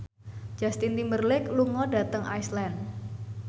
Justin Timberlake lunga dhateng Iceland